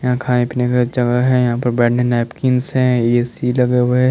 यहाँ पे खाने पीने का जगह हैं यहाँ बैठने नैपकिन्स हैं ए_सी लगे हुए ह--